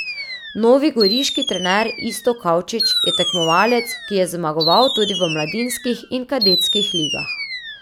Novi goriški trener Iztok Kavčič je tekmovalec, ki je zmagoval tudi v mladinskih in kadetskih ligah.